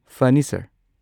ꯐꯅꯤ, ꯁꯔ꯫